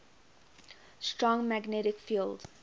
strong magnetic field